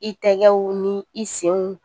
I tɛgɛw ni i senw